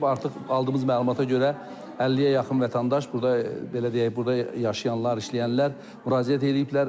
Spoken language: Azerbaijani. Artıq aldığımız məlumata görə, 50-yə yaxın vətəndaş burda belə deyək, burda yaşayanlar, işləyənlər müraciət eləyiblər.